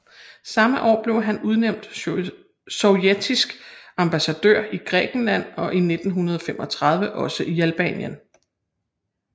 Samme år blev han blev udnævnt sovjetisk ambassadør i Grækenland og i 1935 også i Albanien